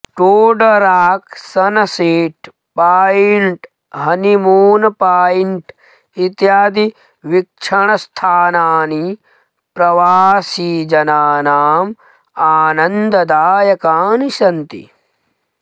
Toad Rock Sunset Point Honeymoon Point इत्यादि वीक्षणस्थानानि प्रवासिजनानाम् आनन्ददायकानि सन्ति